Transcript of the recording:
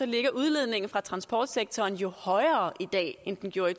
ligger udledningen fra transportsektoren højere i dag end den gjorde